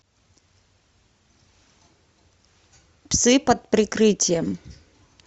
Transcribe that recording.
псы под прикрытием